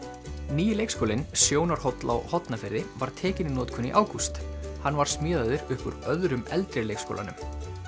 nýi leikskólinn Sjónarhóll á Hornafirði var tekinn í notkun í ágúst hann var smíðaður upp úr öðrum eldri leikskólanum